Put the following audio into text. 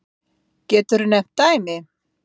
Höskuldur Kári: Geturðu nefnt dæmi?